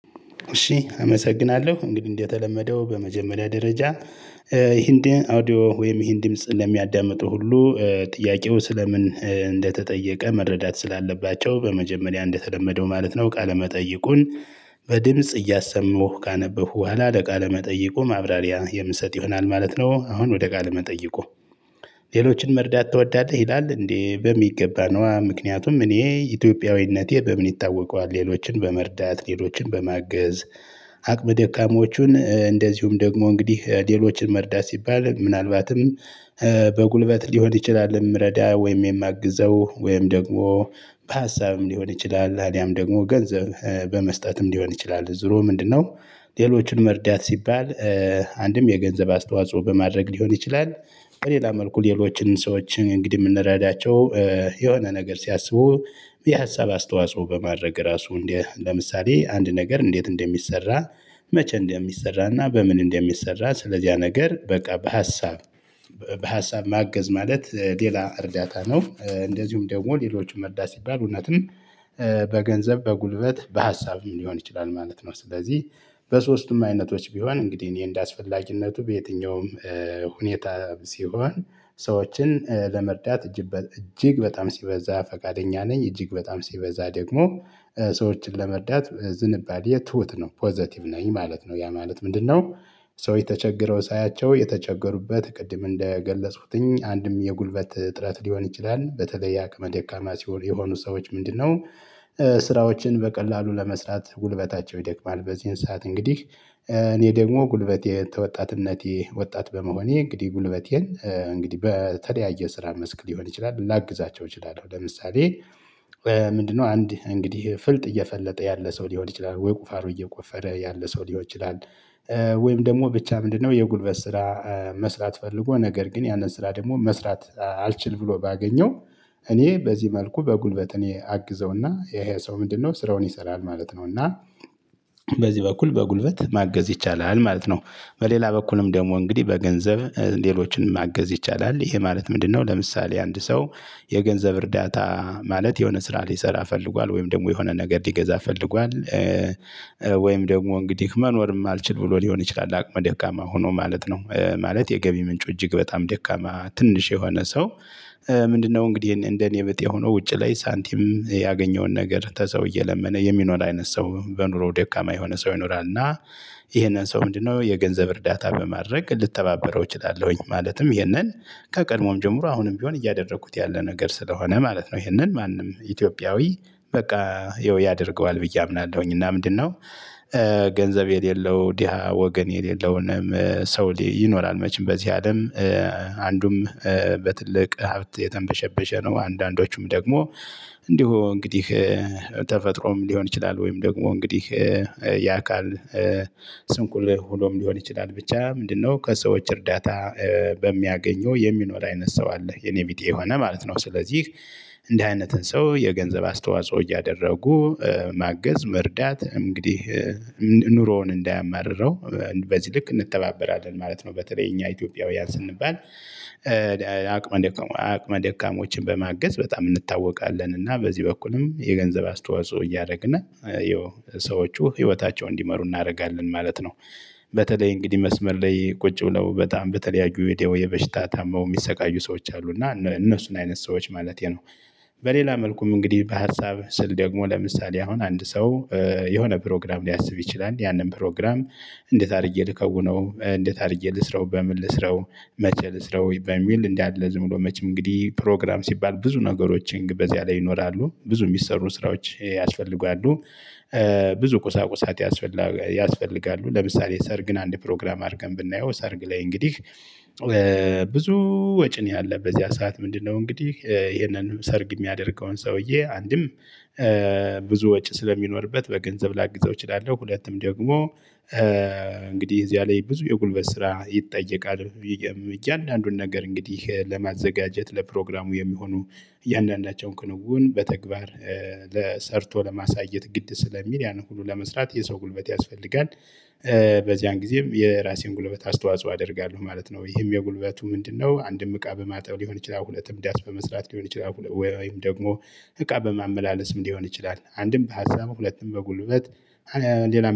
እሺ አመሰግናለሁ እንግዲህ እንደተለመደው በመጀመሪያ ደረጃ እንግዲ አውዲዮ ወይም ይህን ምጽን ለሚያዳምጠው ሁሉ ጥያቄው ስለምን እንደተጠየቀ መረዳት ስላለባቸው በመጀመሪያ እንደተለመደው ማለት ነው። ቃለ መጠይቁ በድምጽ እያሰማሁ ካነበብኩ በኋላ ለቃለ መጠይቁ ማብራሪያ የምሰጥ ይሆናል ማለት ነው። አሁን ወደ ቃለ ጠየቁ ሌሎችን መርዳት ትወዳለህ ይላል እንዴ? በሚገባ ነዋ ምክንያቱም እኔ ኢትዮጵያዊነቴ በምን ይታወቃል። ሌሎችን በመርዳት ሌሎችን በማገዝ አቅመ ደካሞቹን እንደዚሁም ደግሞ እንግዲህ ሌሎችን መርዳት ሲባል ምናልባትም በጉልበት ሊሆን ይችላል። የምረዳ ወይም የማግዘው ወይም ደግሞ በሀሳብም ሊሆን ይችላል አሊያም ደግሞ ገንዘብ በመስጠትም ሊሆን ይችላል። ዞሮ ምንድነው? ሌሎችን መርዳት ሲባል አንድም የገንዘብ አስተዋጽኦ በማድረግ ሊሆን ይችላል። በሌላ መልኩ ሌሎችን ሰዎችን እንግዲህ የምንረዳቸው የሆነ ነገር ሲያስቡ የሀሳብ አስተዋጽኦ በማድረግ ራሱ እንደ ለምሳሌ አንድ ነገር እንዴት እንደሚሰራ? መቼ እንደሚሰራና በምን እንደሚሰራ ስለዚያ ነገር በቃ በሀሳብ በሀሳብ ማገዝ ማለት። ሌላ እርዳታ ነው። እንደዚሁም ደግሞ ሌሎችን መርዳት ሲባል እውነትን በገንዘብ በጉልበት በሀሳብም ሊሆን ይችላል ማለት ነው። ስለዚህ በሶስቱም አይነቶች ቢሆን እንግዲህ እኔ እንደአስፈላጊነቱ በየትኛውም ሁኔታ ሲሆን ሰዎችን ለመርዳት እጅግ በጣም ሲበዛ ፈቃደኛ ነኝ። እጅግ በጣም ሲበዛ ደግሞ ሰዎችን ለመርዳት ዝንባሌ ትሁት ነው ፖዘቲቭ ነኝ ማለት ነው። ያ ማለት ምንድነው? ሰዎች ተቸግረው ሳያቸው የተቸገሩበት ቅድም እንደገለጽሁትኝ አንድም የጉልበት እጥረት ሊሆን ይችላል። በተለይ አቅመ ደካማ ሲሆን የሆኑ ሰዎች ምንድነው? ስራዎችን በቀላሉ ለመስራት ጉልበታቸው ይደክማል። በዚህን ሰዓት እንግዲህ እኔ ደግሞ ጉልበቴ ተወጣትነቴ ወጣት በመሆኔ እንግዲህ ጉልበቴን እንግዲህ በተለያየ ስራ መስክ ሊሆን ይችላል ላግዛቸው እችላለሁ። ለምሳሌ ምንድነው? አንድ እንግዲህ ፍልጥ እየፈለጠ ያለ ሰው ሊሆን ይችላል። ወይ ቁፋሮ እየቆፈረ ያለ ሰው ሊሆን ይችላል። ወይም ደግሞ ብቻ ምንድነው? የጉልበት ስራ መስራት ፈልጎ ነገር ግን ያንን ስራ ደግሞ መስራት አልችል ብሎ ባገኘው እኔ በዚህ መልኩ በጉልበት እኔ አግዘውና ይሄ ሰው ምንድነው ስራውን ይሰራል ማለት ነው። እና በዚህ በኩል በጉልበት ማገዝ ይቻላል ማለት ነው። በሌላ በኩልም ደግሞ እንግዲህ በገንዘብ ሌሎችን ማገዝ ይቻላል። ይሄ ማለት ምንድነው? ለምሳሌ አንድ ሰው የገንዘብ እርዳታ ማለት የሆነ ስራ ሊሰራ ፈልጓል ወይም ደግሞ የሆነ ነገር ሊገዛ ፈልጓል። ወይም ደግሞ እንግዲህ መኖርም አልችል ብሎ ሊሆን ይችላል። አቅመ ደካማ ሆኖ ማለት ነው። ማለት የገቢ ምንጩ እጅግ በጣም ደካማ ትንሽ የሆነ ሰው። ምንድነው? እንግዲህ እንደኔ ብጤ ሆኖ ውጪ ላይ ሳንቲም ያገኘውን ነገር ተሰው እየለመነ የሚኖር አይነት ሰው በኑሮው ደካማ የሆነ ሰው ይኖራል። እና ይሄንን ሰው ምንድነው? የገንዘብ እርዳታ በማድረግ ልተባበረው እችላለሁኝ ማለትም ይሄንን ከቀድሞም ጀምሮ አሁንም ቢሆን እያደረኩት ያለ ነገር ስለሆነ ማለት ነው። ይሄንን ማንም ኢትዮጵያዊ በቃ ያደርገዋል ብዬ አምናለሁኝ። እና ምንድነው? ገንዘብ የሌለው ዲሀ ወገን የሌለውንም ሰው ይኖራል መቼም በዚህ አለም። አንዱም በትልቅ ሀብት የተንበሸበሸ ነው። አንዳንዶቹም ደግሞ እንዲሁ እንግዲህ ተፈጥሮም ሊሆን ይችላል። ወይም ደግሞ እንግዲህ የአካል ስንቁል ሆኖም ሊሆን ይችላል። ብቻ ምንድነው? ከሰዎች እርዳታ በሚያገኘው የሚኖር አይነት ሰው አለ የኔ ቢጤ የሆነ ማለት ነው። ስለዚህ እንዲህ አይነት ሰው የገንዘብ አስተዋጽኦ እያደረጉ ማገዝ መርዳት እንግዲህ ኑሮውን እንዳያማርረው በዚህ ልክ እንተባበራለን ማለት ነው። በተለይ እኛ ኢትዮጵያውያን ስንባል አቅመ ደካማ አቅመ ደካማዎችን በማገዝ በጣም እንታወቃለን። እና በዚህ በኩልም የገንዘብ አስተዋጽኦ እያደረግነ ሰዎቹ ህይወታቸው እንዲመሩ እናደርጋለን ማለት ነው። በተለይ እንግዲህ መስመር ላይ ቁጭ ብለው በጣም በተለያዩ የደዌ በሽታ ታመው የሚሰቃዩ ሰዎች አሉ እና እነሱን አይነት ሰዎች ማለቴ ነው። በሌላ መልኩም እንግዲህ በሀሳብ ስል ደግሞ ለምሳሌ አሁን አንድ ሰው የሆነ ፕሮግራም ሊያስብ ይችላል። ያንን ፕሮግራም እንዴት አድርጌ ልከውነው? እንዴት አድርጌ ልስራው? በምን ልስራው? መቼ ልስራው? በሚል እንዲህ አለ ዝም ብሎ መቼም እንግዲህ ፕሮግራም ሲባል ብዙ ነገሮችን በዚያ ላይ ይኖራሉ ብዙ የሚሰሩ ስራዎች ያስፈልጋሉ። ብዙ ቁሳቁሳት ያስፈልጋሉ። ለምሳሌ ሰርግን አንድ ፕሮግራም አድርገን ብናየው ሰርግ ላይ እንግዲህ ብዙ ወጪ ነው። ያለበት ያ ሰዓት ምንድነው? እንግዲህ ይሄንን ሰርግ የሚያደርገውን ሰውዬ አንድም ብዙ ወጪ ስለሚኖርበት በገንዘብ ላግዘው እችላለሁ። ሁለትም ደግሞ እንግዲህ እዚያ ላይ ብዙ የጉልበት ስራ ይጠየቃል። እያንዳንዱን ነገር እንግዲህ ለማዘጋጀት ለፕሮግራሙ የሚሆኑ እያንዳንዳቸውን ክንውን በተግባር ለ ሰርቶ ለማሳየት ግድ ስለሚል ያንን ሁሉ ለመስራት የሰው ጉልበት ያስፈልጋል። በዚያን ጊዜም የራሴን ጉልበት አስተዋጽኦ አደርጋለሁ ማለት ነው። ይህም የጉልበቱ ምንድነው? አንድም እቃ በማጠብ ሊሆን ይችላል። ሁለትም ዳስ በመስራት ሊሆን ይችላል። ወይም ደግሞ እቃ በማመላለስም ሊሆን ይችላል። አንድም በሀሳብ ሁለቱም በጉልበት ሌላ